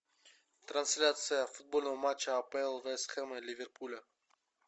трансляция футбольного матча апл вест хэма и ливерпуля